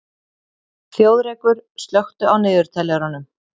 Þjóðrekur, slökktu á niðurteljaranum.